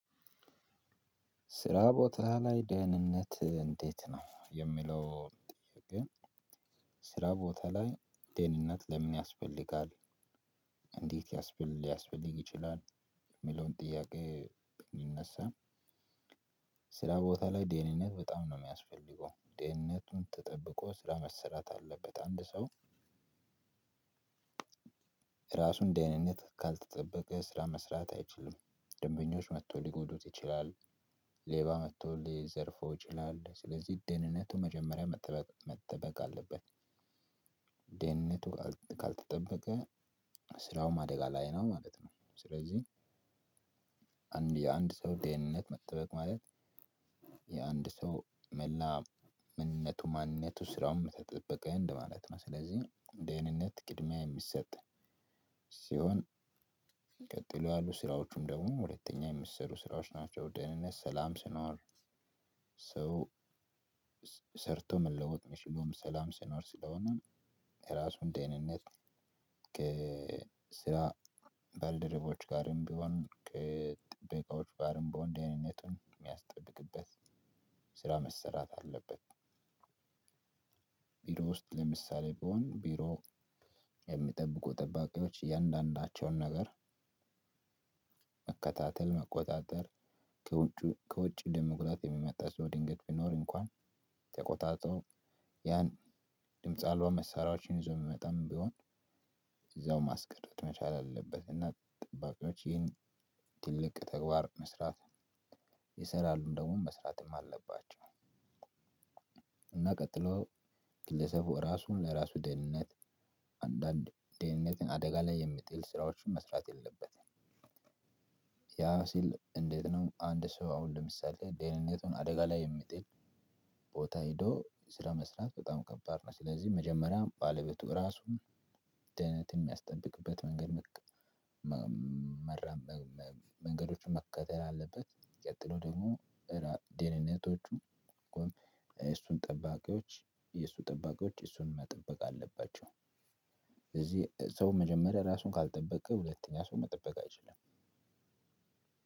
ስራ ቦታ ላይ ደህንነት እንዴት ነው የሚለው ጥያቄ? ስራ ቦታ ላይ ደህንነት ለምን ያስፈልጋል? እንዴት ሊያስፈልግ ይችላል? የሚለውን ጥያቄ ሊነሳ። ስራ ቦታ ላይ ደህንነት በጣም ነው የሚያስፈልገው ድህነቱን ተጠብቆ ስራ መሰራት አለበት አንድ ሰው ደህንነት ካልተጠበቀ ስራ መስራት አይችልም። ደንበኞች መጥተው ሊጎዱት ይችላል። ሌባ መጥቶ ሊዘርፈው ይችላል ስለዚህ ደህንነቱ መጀመሪያ መጠበቅ መጠበቅ አለበት። ደህንነቱ ካልተጠበቀ ስራውም አደጋ ላይ ነው ማለት ነው። ስለዚህ አንድ የአንድ ሰው ደህንነት መጠበቅ ማለት። የአንድ ሰው መላ ማንነቱ ማንነቱ ስራውን ተጠበቀ እንደማለት ነው። ስለዚህ ደህንነት ቅድሚያ የሚሰጥ ሲሆን ቀጥሎ ያሉ ስራዎቹም ደግሞ ሁለተኛ የሚሰሩ ስራዎች ናቸው። ደህንነት ሰላም ሲኖር ሰው ሰርቶ መለወጥ የሚችለው ሰላም ሲኖር ስለሆነ። የራሱን ደህንነት ከስራ ከባልደረቦቹ ጋር ቢሆን ከጥበቃዎች ጋር ቢሆንም ደህንነቱን ምያስጠብቅበት ስራ መሰራት አለበት። ቢሮ ውስጥ ለምሳሌ ቢሆን ቢሮ የሚጠብቁ ጠባቂዎች እያንዳንዳቸውን ነገር። መከታተል መቆጣጠር ከውጪ ከውጭ ለመጉዳት የሚመጣ ሰው ድንገት ቢኖር እንኳን ተቆጣጥሮ ያን ድምጽ አልባ መሳሪያዎችን ይዞ የምመጣም ቢሆን እዛው ማስቀረት መቻል አለበት። እና ጠባቂዎች ይህን ትልቅ ተግባር መስራት ይሰራሉም ደግሞ መስራትም አለባቸው። እና ቀጥሎ ግለሰቡ ራሱን ለራሱ ደህንነት አንዳንድ ደህንነትን አደጋ ላይ የሚጥል ስራዎችን መስራት የለበትም። ያ ሲል እንዴት ነው? አንድ ሰው አሁን ለምሳሌ ደህንነቱን አደጋ ላይ የሚጥል ቦታ ሄዶ ስራ መስራት በጣም ከባድ ነው። ስለዚህ መጀመሪያ ባለቤቱ ራሱ ደህንነትን የሚያስጠብቅበት መንገድ መራመመ መንገዶችን መከተል አለበት። ቀጥሎ ደግሞ ደህንነቶቹ እሱን ጠባቂዎች እሱን ጠባቂዎች እሱን መጠበቅ አለባቸው። እዚህ ሰው መጀመሪያ ራሱን ካልጠበቀ ሁለተኛ ሰው መጠበቅ አይችልም።